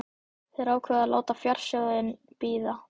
Þær ákváðu að láta fjársjóðinn bíða.